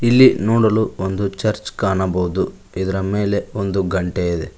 ಇಲ್ಲಿ ನೋಡಲು ಒಂದು ಚರ್ಚ್ ಕಾಣಬಹುದು ಇದರ ಮೇಲೆ ಒಂದು ಗಂಟೆ ಇದೆ.